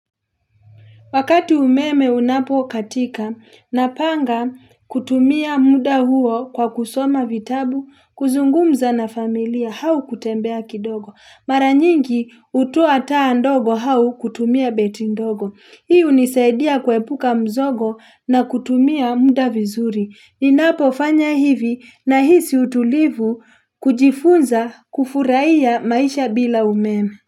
Wakati umeme unapo katika, napanga kutumia muda huo kwa kusoma vitabu, kuzungumza na familia, au kutembea kidogo. Mara nyingi hutoa taa ndogo au kutumia beti ndogo. Hii hunisaidia kuepuka mzogo, na kutumia muda vizuri. Ninapofanya hivi, nahisi utulivu, kujifunza kufurahia maisha bila umeme.